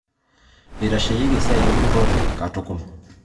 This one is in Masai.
Itaanyareki esiaki empurrore katukol